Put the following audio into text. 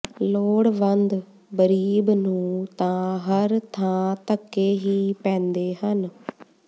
ਲੋੜਵੰਦ ਬਰੀਬ ਨੂੰ ਤਾਂ ਹਰ ਥਾਂ ਧੱਕੇ ਹੀ ਪੈਂਦੇ ਹਨ